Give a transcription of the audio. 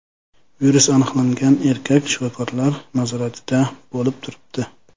Virus aniqlangan erkak shifokorlar nazoratida bo‘lib turibdi.